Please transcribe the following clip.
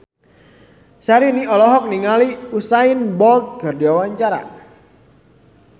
Syahrini olohok ningali Usain Bolt keur diwawancara